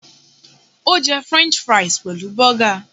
Ó jẹ french fries pẹ̀lú burger